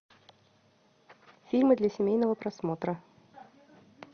фильмы для семейного просмотра